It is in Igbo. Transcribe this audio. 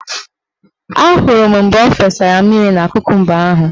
Ahụrụ m mgbe o fesara mmiri na kokumba ahụ.